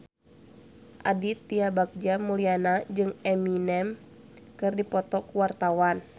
Aditya Bagja Mulyana jeung Eminem keur dipoto ku wartawan